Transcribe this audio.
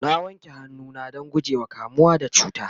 na wanke hannu na Dan gujewa kamuwa da cuta